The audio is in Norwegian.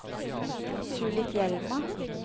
Sulitjelma